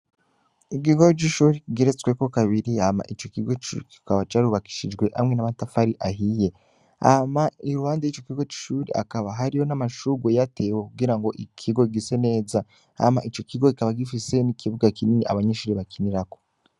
Ikigo c'ishuri kigeretsweko kabiri hama ico kigo kikaba carubakishijwe hamwe n'amatafari ahiye hama i ruhande y'ico kigo c'ishuri hakaba hariyo n'amashurwe yatewe kugira ngo ikigo gise neza hama ico kigo kikaba gifise n'ikibuga kinini abanyenshuri bakinirako.